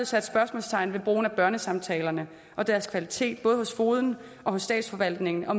sat spørgsmålstegn ved brugen af børnesamtaler og deres kvalitet både hos fogeden og i statsforvaltningen og